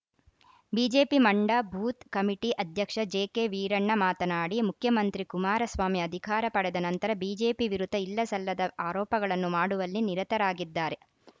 BJP ಮಂಡ ಬೂತ್‌ಕಮಿಟಿ ಅಧ್ಯಕ್ಷ ಜೆಕೆವೀರಣ್ಣ ಮಾತನಾಡಿ ಮುಖ್ಯಮಂತ್ರಿ ಕುಮಾರಸ್ವಾಮಿ ಅಧಿಕಾರ ಪಡೆದ ನಂತರ ಬಿಜೆಪಿ ವಿರುದ್ಧ ಇಲ್ಲಸಲ್ಲದ ಆರೋಪಗಳನ್ನು ಮಾಡುವಲ್ಲಿ ನಿರತರಾಗಿದ್ದಾರೆ